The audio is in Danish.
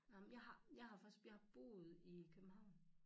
Ej men jeg har jeg har faktisk boet i København